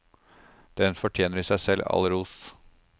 Den fortjener i seg selv all ros.